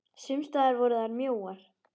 Sums staðar voru þær mjóar.